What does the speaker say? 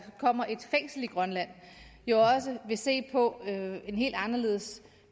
kommer et fængsel i grønland vil se på en helt anderledes